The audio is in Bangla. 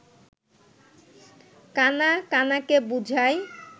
কাণা কাণাকে বুঝায়